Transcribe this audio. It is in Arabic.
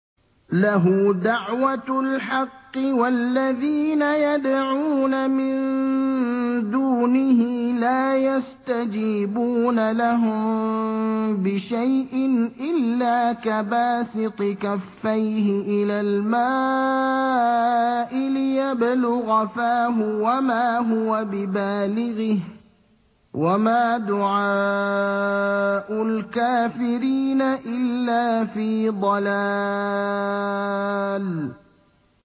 لَهُ دَعْوَةُ الْحَقِّ ۖ وَالَّذِينَ يَدْعُونَ مِن دُونِهِ لَا يَسْتَجِيبُونَ لَهُم بِشَيْءٍ إِلَّا كَبَاسِطِ كَفَّيْهِ إِلَى الْمَاءِ لِيَبْلُغَ فَاهُ وَمَا هُوَ بِبَالِغِهِ ۚ وَمَا دُعَاءُ الْكَافِرِينَ إِلَّا فِي ضَلَالٍ